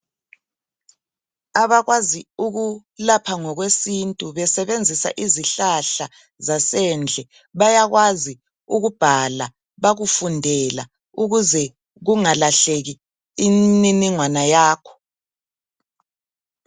Abakwazi ukulapha ngokwesintu besebenzisa izihlahla zasendle bayakwazi ukubhala bakufundela ukuze kungalahleki imniningwana yakho .